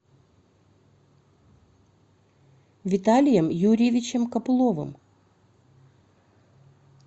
виталием юрьевичем копыловым